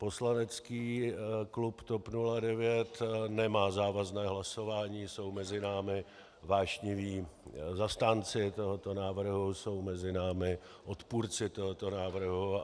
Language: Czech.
Poslanecký klub TOP 09 nemá závazné hlasování, jsou mezi námi vášniví zastánci tohoto návrhu, jsou mezi námi odpůrci tohoto návrhu.